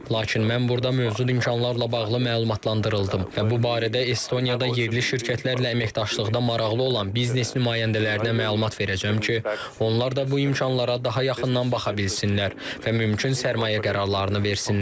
Lakin mən burda mövcud imkanlarla bağlı məlumatlandırıldım və bu barədə Estoniyada yerli şirkətlərlə əməkdaşlıqda maraqlı olan biznes nümayəndələrinə məlumat verəcəm ki, onlar da bu imkanlara daha yaxından baxa bilsinlər və mümkün sərmayə qərarlarını versinlər.